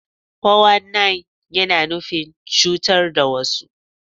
Fo wan nain, yana nufin cutar da wasu.